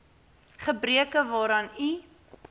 gebreke waaraan u